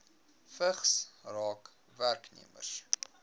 vigs raak werknemers